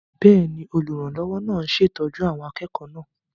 Bẹ́ẹ̀ni, olùrànlọ́wọ́ náà ń ṣètọ́jú àwọn akẹ́kọ̀ọ́ náà